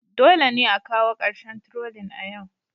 Dole ne a kawo ƙarshen trolling a yau